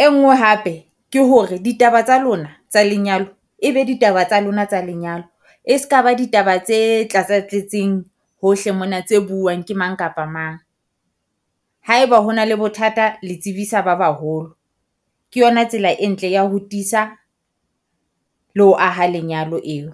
E nngwe hape ke hore ditaba tsa lona tsa lenyalo e be ditaba tsa lona tsa lenyalo, e ska ba ditaba tse tlasa tletseng hohle mona tse buang ke mang kapa mang. Haeba ho na le bothata le tsebisa ba baholo, ke yona tsela e ntle ya ho tiisa le ho aha lenyalo eo.